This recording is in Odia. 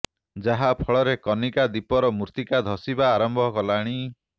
ଯାହା ଫଳରେ କନିକା ଦ୍ୱୀପର ମୃତ୍ତିକା ଧସିବା ଆରମ୍ଭ କଲାଣି